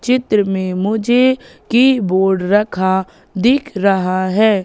चित्र में मुझे कीबोर्ड रखा दिख रहा है।